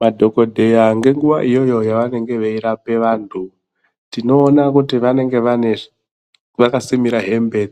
Madhokodheya ngenguwa iyoyo yavanenge Veirapa antu tinoona kuti vanenge vakasimira hembe